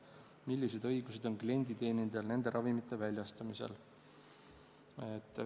Millised õigused on klienditeenindajal nende ravimite väljastamisel?